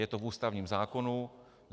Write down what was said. Je to v ústavním zákonu.